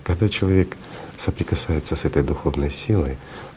когда человек соприкасается с этой духовной силой